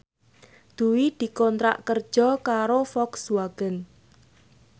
Dwi dikontrak kerja karo Volkswagen